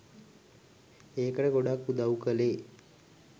ඒකට ගොඩක් උදව් කලේ